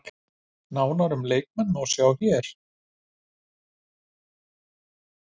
Nánar um leikinn má sjá hér